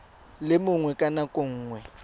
le mongwe ka nako nngwe